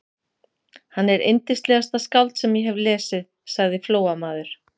Hann er yndislegasta skáld sem ég hef lesið, sagði Flóamaður.